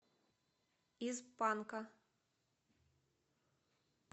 из панка